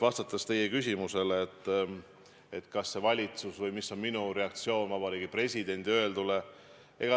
Vastan teie küsimusele, mis on minu reaktsioon Vabariigi Presidendi öeldule.